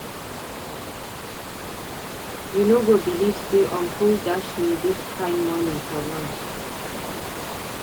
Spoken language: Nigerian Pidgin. You no go believe say uncle dash me dis kin money for lunch.